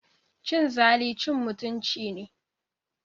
Cin zali cin mutunci ne.